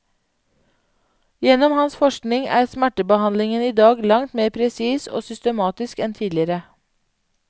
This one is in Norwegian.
Gjennom hans forskning er smertebehandlingen i dag langt mer presis og systematisk enn tidligere.